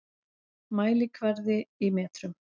Mælikvarði í metrum.